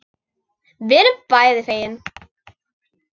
Við erum því bæði fegin.